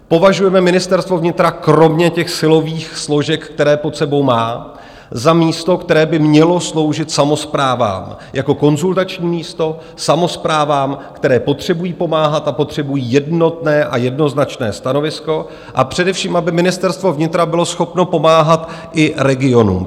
Považujeme Ministerstvo vnitra kromě těch silových složek, které pod sebou má, za místo, které by mělo sloužit samosprávám jako konzultační místo, samosprávám, které potřebují pomáhat a potřebují jednotné a jednoznačné stanovisko, a především aby Ministerstvo vnitra bylo schopno pomáhat i regionům.